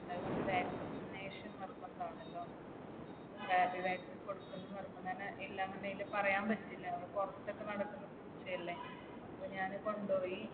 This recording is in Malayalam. എന്തായാലും നമ്മൾ vaccination നിർബന്ധമാണല്ലോ. Rabi vaccine കൊടുക്കണമെന്ന് നിർബന്ധമാണ് കാരണം എല്ലാം എങ്ങനെയാണെന്ന് പറയാൻ പറ്റില്ല. പുറത്തൊക്കെ നടക്കുന്ന പൂച്ചയല്ലേ. അപ്പൊ ഞാൻ കൊണ്ടോയി.